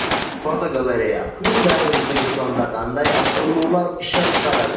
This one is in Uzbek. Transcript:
Fotogalereya: Hyundai O‘zbekistonda qanday avtoulovlar ishlab chiqaradi?.